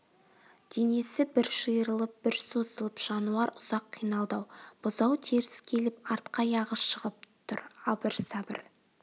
денесі бір жиырылып бір созылып жануар ұзақ қиналды бұзау теріс келіп артқы аяғы шығып тұр абыр-сабыр